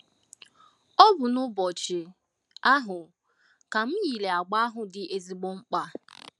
Ọ bụ n’ụbọchị ahụ ka m yiri agba ahụ dị ezigbo mkpa.